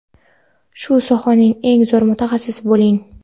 shu sohaning eng zo‘r mutaxassisi bo‘ling.